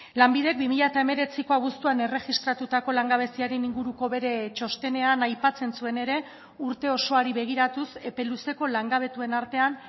lanbidek bi mila hemeretziko abuztuan erregistratutako langabeziaren inguruko bere txostenean aipatzen zuen ere urte osoari begiratuz epe luzeko langabetuen artean